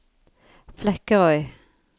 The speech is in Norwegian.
Flekkerøy